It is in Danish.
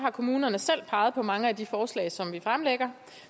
at kommunerne selv har peget på mange af de forslag som vi fremlægger